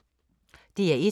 DR1